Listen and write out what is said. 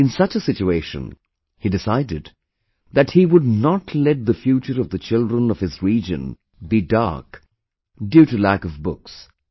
In such a situation, he decided that, he would not let the future of the children of his region be dark, due to lack of books